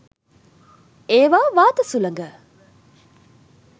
ඒවා වාත සුළඟ